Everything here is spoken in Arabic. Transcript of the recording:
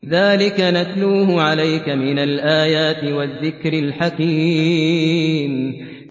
ذَٰلِكَ نَتْلُوهُ عَلَيْكَ مِنَ الْآيَاتِ وَالذِّكْرِ الْحَكِيمِ